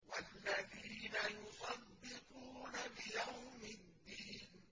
وَالَّذِينَ يُصَدِّقُونَ بِيَوْمِ الدِّينِ